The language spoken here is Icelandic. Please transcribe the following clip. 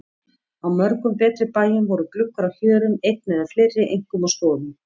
Á mörgum betri bæjum voru gluggar á hjörum einn eða fleiri, einkum á stofum.